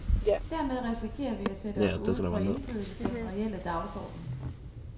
Dermed risikerer vi at sætte os uden for indflydelse på den reelle dagsorden.